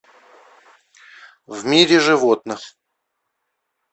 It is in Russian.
в мире животных